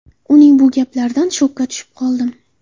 Uning bu gaplaridan shokka tushib qoldim.